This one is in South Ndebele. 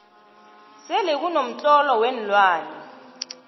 selekuno mtlolo weenlwane